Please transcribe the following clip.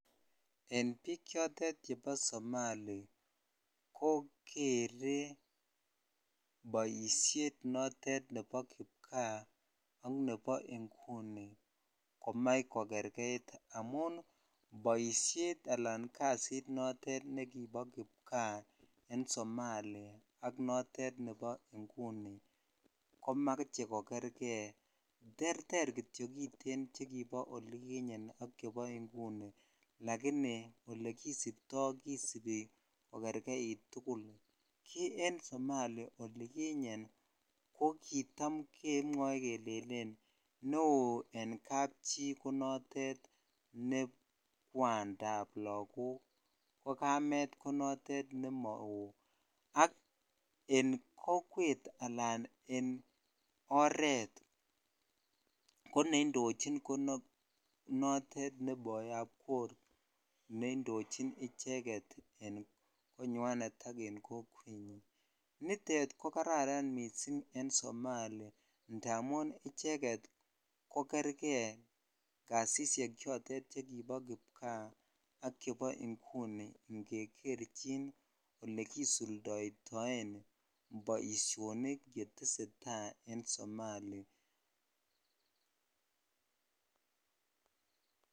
En biik chotet chebo somali ko keree boisiet notet nebo kipkaa ak nebo ingunikomach kokerkeit amun boishet ala kasit notet nekipo kipkaa en somali ak notet nebo inguni komoche kokerkei terter kityok kiten chekibo olikinyen ak chebo inguni lakini olekisiptoi tukul kisibi kokerkeit tukul ki en somali olikinyen ko kitam kemwoe kelelen neo en kabchi ko notet ne kwandap lakok ko kamet konotet nemowoo ak en kokwet alan en oret koneindochin ko notet ne boyab kok ne indichin icheket en konywanet ak en kokwetnyin nitet ko kararan missing en somali indamun icheket ko kerķei jasishek chotet chekibo kipkaa ak chebo inguni ingekerchin olekisuldoidoen boisionik chetesetai en somali.